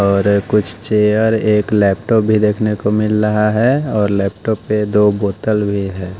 और कुछ चेयर एक लैपटॉप भी देखने को मिल रहा है और लैपटॉप पे दो बोतल भी हैं।